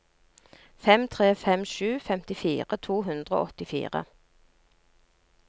fem tre fem sju femtifire to hundre og åttifire